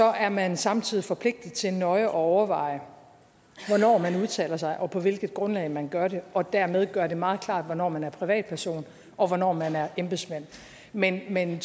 er man samtidig forpligtet til nøje at overveje hvornår man udtaler sig og på hvilket grundlag man gør det og dermed gøre det meget klart hvornår man er privatperson og hvornår man er embedsmand men men